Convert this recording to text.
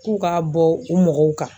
K'u ka bɔ u mɔgɔw kan.